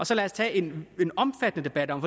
så lad os tage en en omfattende debat om